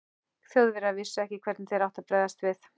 Þjóðverjar vissu ekki, hvernig þeir áttu að bregðast við.